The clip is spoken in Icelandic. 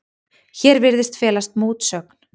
Hér virðist felast mótsögn.